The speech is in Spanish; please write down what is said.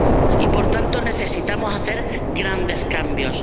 Y, por tanto, necesitamos hacer grandes cambios.